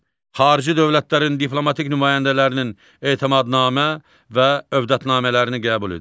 Xarici dövlətlərin diplomatik nümayəndələrinin etimadnamə və övdətnamələrini qəbul edir.